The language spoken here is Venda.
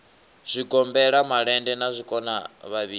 zwigombela malende na zwikona vhavhili